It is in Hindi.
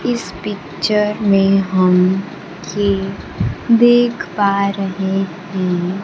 इस पिक्चर में हम ये देख पा रहे हैं।